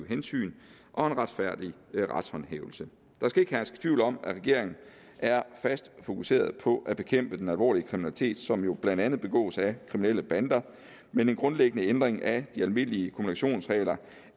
hensyn og en retfærdig retshåndhævelse der skal ikke herske tvivl om at regeringen er fast fokuseret på at bekæmpe den alvorlige kriminalitet som jo blandt andet begås af kriminelle bander men en grundlæggende ændring af de almindelige kumulationsregler